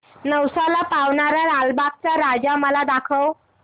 नवसाला पावणारा लालबागचा राजा मला दाखव